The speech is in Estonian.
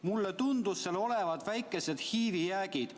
"Mulle tundusid seal olevat väikesed HIV-i jäägid.